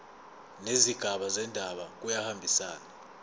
nezigaba zendaba kuyahambisana